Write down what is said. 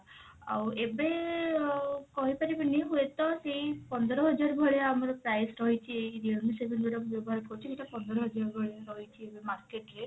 ଆଉ ଏବେ ଆଉ କହିପାରିବିନି ହୁଏତ ସେଇ ପନ୍ଦର ହଜାର ଭଳିଆ ଆମର price ରହିଛି ଏଇ realme seven ମୁଁ ଯଉଟା ବ୍ୟବହାର କରୁଛି ସେଇଟା ପନ୍ଦର ହଜାର ଭଳିଆ ରହିଛି ଏବେ market rate